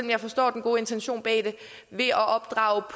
jeg forstår den gode intention bag det ved at opdrage